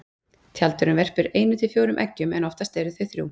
Tjaldurinn verpir einu til fjórum eggjum en oftast eru þau þrjú.